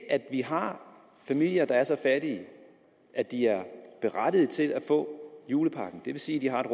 at vi har familier der er så fattige at de er berettigede til at få julepakken og det vil sige at de har et